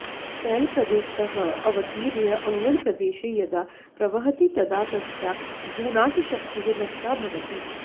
शैलप्रदेशतः अवतीर्य अङ्गणप्रदेशे यदा प्रवहति तदा तस्याः भूनाशशक्तिः नष्टा भवति